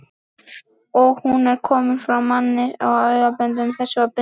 og hún er komin frá manni, sem engum böndum var bundinn þessum